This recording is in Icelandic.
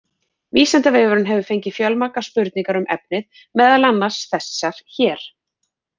Vísindavefurinn hefur fengið fjölmargar spurningar um efnið, meðal annars þessar hér: